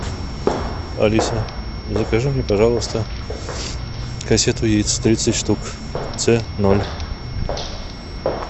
алиса закажи мне пожалуйста кассету яиц тридцать штук ц ноль